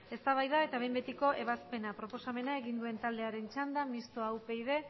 eztabaida eta behin betiko ebazpena proposamena egin duen taldearen txanda mistoa upyd